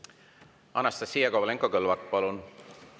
Anastassia Kovalenko-Kõlvart, palun!